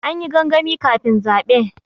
An yi gangami kafin zaɓe.